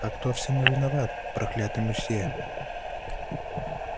а кто всему виноват проклятый мусье